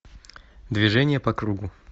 движение по кругу